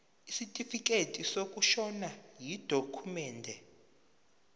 isitifikedi sokushona yidokhumende